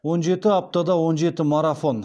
он жеті аптада он жеті марафон